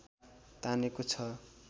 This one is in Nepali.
तानेको छ